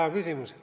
Hea küsimus.